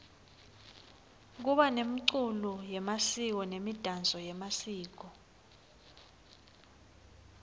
kuba nemculo yemasiko nemidanso yemasiko